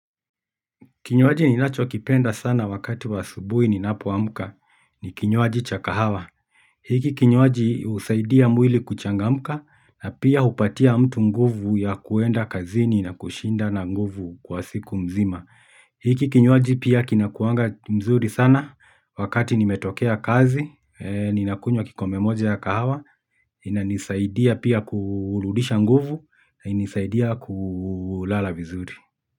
Kinywaji ninachokipenda sana wakati wa asubuhi ninapoamka ni kinywaji cha kahawa. Hiki kinywaji husaidia mwili kuchangamka na pia hupatia mtu nguvu ya kuenda kazini na kushinda na nguvu kwa siku mzima. Hiki kinywaji pia kinakuanga mzuri sana wakati nimetokea kazi ninakunywa kikombe moja ya kahawa, inanisaidia pia kurudisha nguvu na inanisaidia kulala vizuri.